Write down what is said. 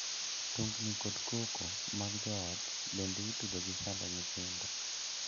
Tungni kod koko mag joot bende itudo gi sando nyithindo.